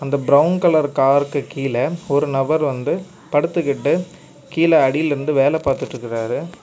அந்த brown colour காருக்கு கீழே ஒரு நபர் வந்து படுத்துகிட்டு கீழே அடியிலிருந்து வேல பாத்திட்டிருக்காரு.